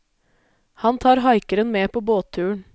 Han tar haikeren med på båtturen.